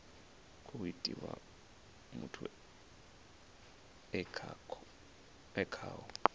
khou itiwa muthu e khaho